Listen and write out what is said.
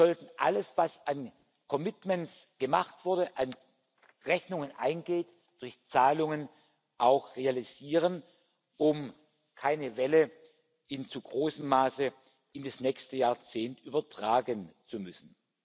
Es sollte alles, was an commitments gemacht wurde, an Rechnungen eingeht, durch Zahlungen auch realisiert werden, um keine Welle in zu großem Maße in das nächste Jahrzehnt übertragen zu müssen.